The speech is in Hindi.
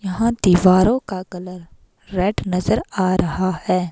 यहां दीवारों का कलर रेड नजर आ रहा है।